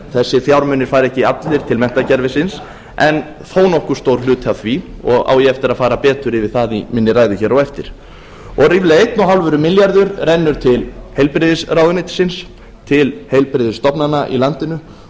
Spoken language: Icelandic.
þessir fjármunir fara ekki allir til menntakerfisins en þó nokkuð stór hluti af því og á ég eftir að fara betur yfir það í minni ræðu hér á eftir ríflega eitt og hálfur milljarður rennur til heilbrigðisráðuneytisins til heilbrigðisstofnana í landinu